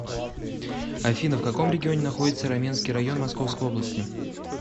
афина в каком регионе находится раменский район московской области